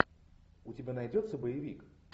у тебя найдется боевик